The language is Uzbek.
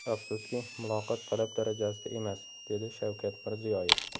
Afsuski, muloqot talab darajasida emas”, dedi Shavkat Mirziyoyev.